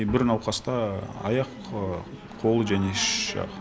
бір науқаста аяқ қол және іш жағы